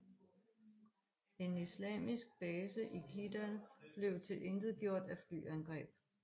En islamistisk base i Kidal blev tilintetgjort af flyangreb